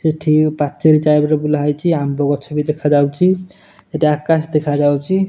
ଏଠି ପାଚେରୀ ଚାରିପଟେ ବୁଲା ହେଇଚି ଆମ୍ବ ଗଛ ବି ଦେଖାଯାଉଚି ଏଠି ଆକାଶ ଦେଖାଯାଉଚି।